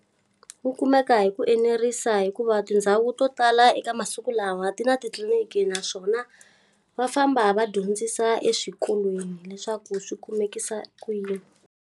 Wu kumeka hi ku enerisa hikuva tindhawu to tala eka masiku lawa ti na titliliniki naswona, va famba va dyondzisa eswikolweni leswaku swi kumekisa ku yini.